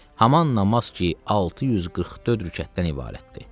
Haman namaz ki, 644 rükətdən ibarətdir.